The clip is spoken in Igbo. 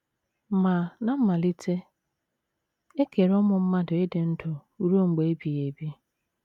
Ma, ná mmalite, e kere ụmụ mmadụ ịdị ndụ ruo mgbe ebighị ebi.